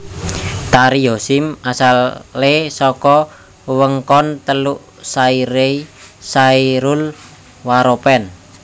Tari Yosim asalé saka wewengkon teluk Sairei Serul Waropen